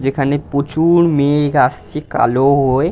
যেখানে প্রচুর-অ মেঘ আসছে কালো হয়ে।